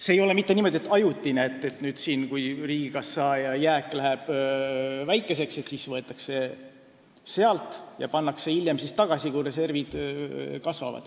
See ei ole niimoodi mitte ajutiselt, et kui riigikassa jääk muutub väikeseks, siis võetakse sealt raha ja pannakse hiljem tagasi, kui reservid kasvavad.